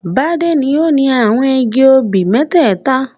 Bádé ni ó ni àwọn igi obì mẹ́tẹ́ẹ̀ta.